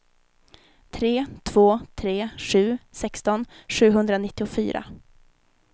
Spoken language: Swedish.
tre två tre sju sexton sjuhundranittiofyra